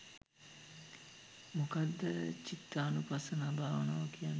මොකක්ද චිත්තානුපස්සනා භාවනාව කියන්නේ